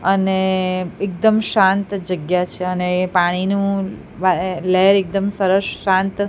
અને એકદમ શાંત જગ્યા છે અને પાણીનું વાએ લહેર એકદમ સરસ શાંત--